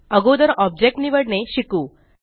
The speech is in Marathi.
अगोदर ऑब्जेक्ट निवडणे शिकू